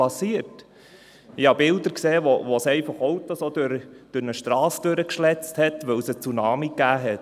Ich sah Bilder von Autos, die es wegen eines Tsunamis durch eine Strasse gewirbelt hatte.